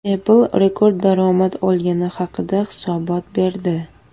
Apple rekord daromad olgani haqida hisobot berdi.